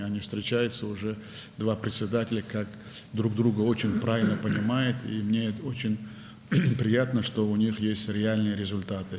Onlar artıq iki sədr kimi görüşürlər, bir-birini çox düzgün başa düşürlər və onların real nəticələrinin olması məni çox sevindirir.